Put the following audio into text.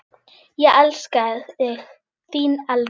Ég elska þig, þín Elva.